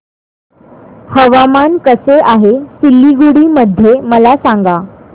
हवामान कसे आहे सिलीगुडी मध्ये मला सांगा